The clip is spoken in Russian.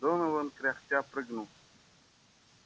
донован кряхтя прыгнул